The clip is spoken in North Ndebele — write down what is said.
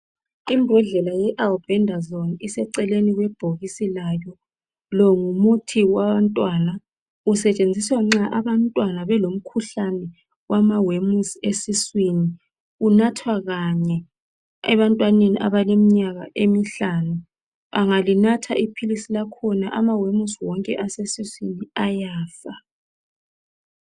Imbodlela ye albendazole iseceleni kwebhokisi layo .Longumuthi wabantwana usetshenziswa nxa abantwana belomkhuhlane wamawemusi esiswini . Unathwa kanye ebantwaneni abale minyaka emihlanu . Angalinatha iphilisi lakhona amawemusi wonke asesiswini ayafa .